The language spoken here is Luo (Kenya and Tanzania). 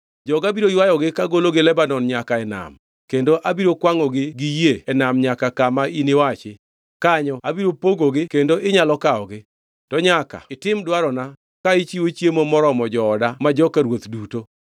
Joga biro ywayogi kagologi Lebanon nyaka e nam, kendo abiro kwangʼogi gi yie e nam nyaka kama iniwachi. Kanyo abiro pogogi kendo inyalo kawogi. To nyaka itim dwarona ka ichiwo chiemo moromo jooda ma joka ruoth duto.”